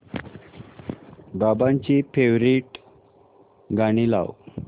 बाबांची फेवरिट गाणी लाव